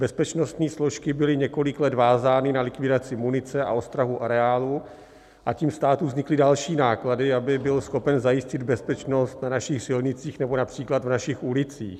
Bezpečnostní složky byly několik let vázány na likvidaci munice a ostrahu areálu a tím státu vznikly další náklady, aby byl schopen zajistit bezpečnost na našich silnicích nebo například v našich ulicích.